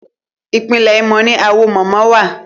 Ìpínlẹ̀ Imo ni Awo mama wà.